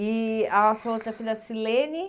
E a sua outra filha, Silene?